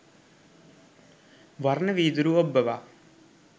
වර්ණ වීදුරු ඔබ්බවා